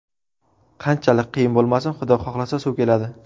Qanchalik qiyin bo‘lmasin, Xudo xohlasa, suv keladi”.